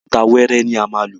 Òkúta wẹ́ẹ́rẹ́ ni a má lò.